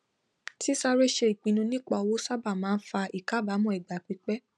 sísáré ṣe ipinnu nípa owó sábà máa ń fa ìkàbámọ igba pípẹ